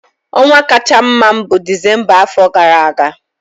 Ọnwa kacha mma m bụ Disemba afọ gara aga.